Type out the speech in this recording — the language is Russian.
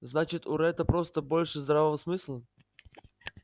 значит у ретта просто больше здравого смысла